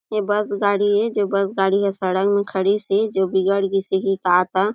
ये बस गाड़ी ए जो बस गाड़ी ह सड़क में खड़ी से जो बिगड़ गइस होही का-का--